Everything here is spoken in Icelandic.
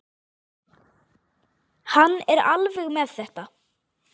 Hann er alveg með þetta.